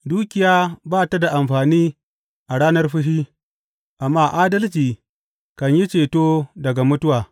Dukiya ba ta da amfani a ranar fushi, amma adalci kan yi ceto daga mutuwa.